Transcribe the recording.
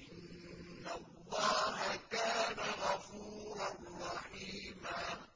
إِنَّ اللَّهَ كَانَ غَفُورًا رَّحِيمًا